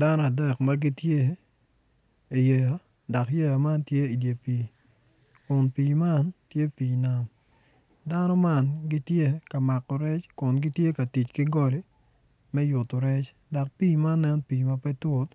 Dano adek ma gitye iyeya dok yeya man tye iyi pii kun pii man tye pii nam dano man gitye ka mako rec kun gitye ka mako rec ki goli me yuto rec dok pii man nen pii ma pe tut